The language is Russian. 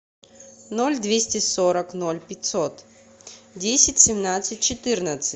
ноль двести сорок ноль пятьсот десять семнадцать четырнадцать